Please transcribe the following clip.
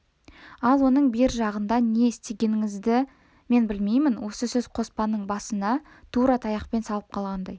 ал оның бер жағында не істегеніңізді мен білмеймін осы сөз қоспанның басына тура таяқпен салып қалғандай